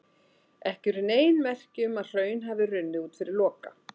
Ekki eru nein merki um að hraun hafi runnið út fyrir Loka.